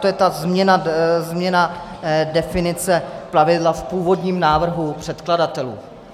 To je ta změna definice plavidla v původním návrhu předkladatelů.